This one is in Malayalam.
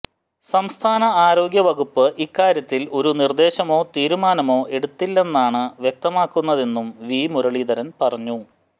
സംസ്ഥാന ആരോഗ്യ വകുപ്പ് ഇക്കാര്യത്തിൽ ഒരു നിർദേശമോ തീരുമാനമോ എടുത്തില്ലെന്നാണ് വ്യക്തമാകുന്നതെന്നും വി മുരളീധരൻ പറഞ്ഞു